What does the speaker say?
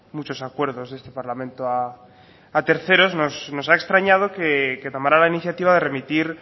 muchos acuerdos de este parlamento a terceros nos ha extrañado que tomara la iniciativa de remitir